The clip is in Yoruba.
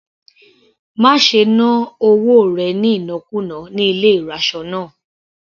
Má ṣe ná owó rẹ̀ ní ìnákùná ní ilé ìraṣọ náà.